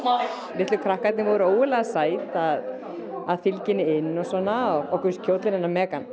litlu krakkarnir voru ógurlega sæt að að fylgja henni inn og svona okkur kjóllinn hennar